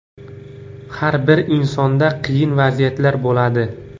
Har bir insonda qiyin vaziyatlar bo‘ladi.